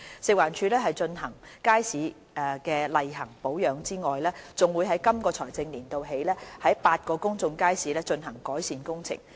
食環署除進行街市的例行保養外，還會在今個財政年度起，於8個公眾街市進行改善工程。